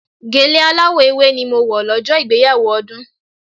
Gèlè aláwọ̀ ewé ni mo wọ̀ lọ́jọ́ ìgbéyàwó Ọdún.